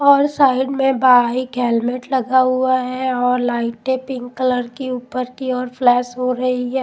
और साइड में bike helmet लगा हुआ है और लाइटें पिंक कलर की ऊपर की ओर फ्लैश हो रही है.